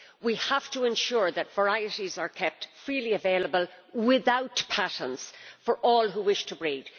We have to ensure that varieties are kept freely available, without patents, for all who wish to breed.